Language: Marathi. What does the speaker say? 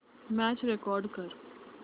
मॅच रेकॉर्ड कर